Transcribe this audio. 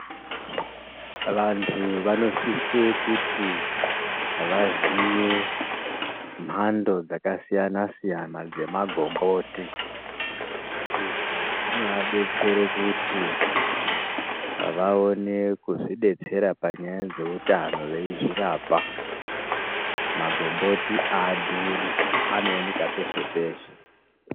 Vantu vanosise kuti vaziye mhando dzakasiyana siyana dzemagomboti izvo zinoadetsere kuti vaone kuzvidetsera panyaya dzeutano veizvirapa magomboti aadhuri anooneka peshe peshe .